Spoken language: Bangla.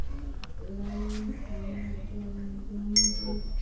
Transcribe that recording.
লাইন, থামার, যন